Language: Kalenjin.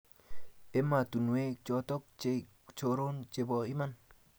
ematunuek choton che choron chebo iman